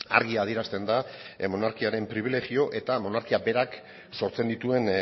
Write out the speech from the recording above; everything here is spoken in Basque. argi adierazten da monarkiaren pribilegio eta monarkiak berak sortzen dituen